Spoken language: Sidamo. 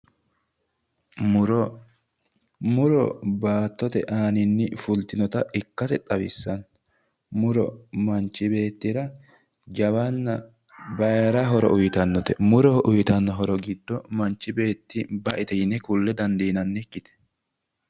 Muro, muro baattote aanini fultinotta ikkase xawisano, muro manchi beettira jawanna bayira horo uyittanote, muro uyittano horo giddo manchi beetti baete kulle dandiinannikkite